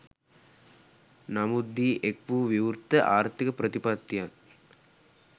නමුත්දී එක් වූ විවෘත ආර්ථික ප්‍රතිපත්තියත්